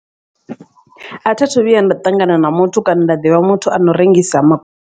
A thithu vhuya nda ṱangana na muthu kana nda ḓivha muthu ano rengisa ma.